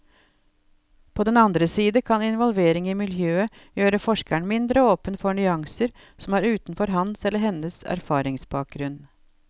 På den andre side kan involvering i miljøet gjøre forskeren mindre åpen for nyanser som er utenfor hans eller hennes erfaringsbakgrunn.